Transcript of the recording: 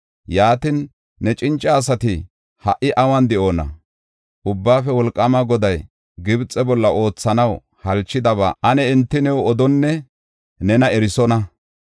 Yaatin, ne cinca asati ha77i awun de7oona? Ubbaafe Wolqaama Goday Gibxe bolla oothanaw halchidaba ane enti new odonne nena erisonna.